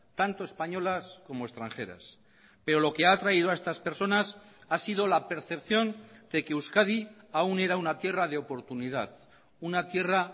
tanto españolas como extranjeras pero lo que ha atraído a estas personas ha sido la percepción de que euskadi aún era una tierra de oportunidad una tierra